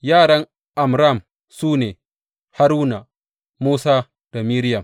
Yaran Amram su ne, Haruna, Musa da Miriyam.